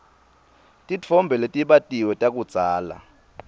titfombe letibatiwe takudzala